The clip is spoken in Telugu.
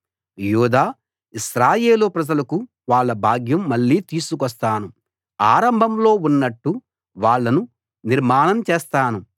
యూదా ఇశ్రాయేలు ప్రజలకు వాళ్ళ భాగ్యం మళ్ళీ తీసుకొస్తాను ఆరంభంలో ఉన్నట్టు వాళ్ళను నిర్మాణం చేస్తాను